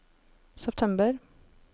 september